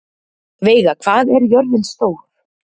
Veiga, hvað er jörðin stór?